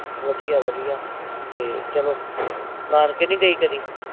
ਵਧੀਆ ਵਧੀਆ ਤੇ ਚਲੋ ਨਾਨਕੇ ਨੀ ਗਈ ਕਦੀ